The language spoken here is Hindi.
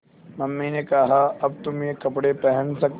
मम्मी ने कहा अब तुम ये कपड़े पहन सकते हो